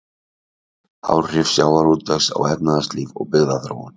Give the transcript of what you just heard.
Áhrif sjávarútvegs á efnahagslíf og byggðaþróun.